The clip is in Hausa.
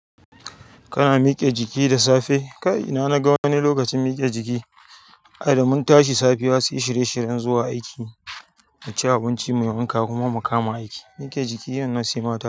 Kana miƙe jiki da safe? Kai ina na ga wani lokacin miƙe jiki. Ai da mun tashi safiya sai shirye shiryen zuwa aiki, mu ci abinci, mu yi wanka kuma mu kama aiki. Mike jiki wannan sai mata.